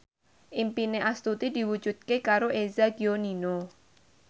impine Astuti diwujudke karo Eza Gionino